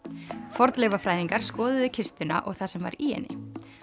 fornleifafræðingar skoðuðu kistuna og það sem var í henni